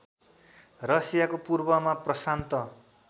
रसियाको पूर्वमा प्रशान्त